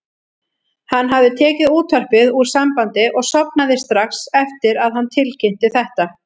Hann hafði tekið útvarpið úr sambandi og sofnað strax eftir að hann tilkynnti þetta.